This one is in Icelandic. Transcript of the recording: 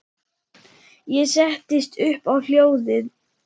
Ég settist upp á hjólið.